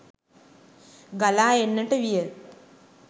ගලා එන්නට විය.